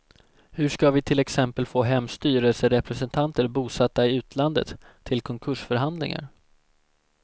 Hur ska vi till exempel få hem styrelserepresentanter bosatta i utlandet till konkursförhandlingar?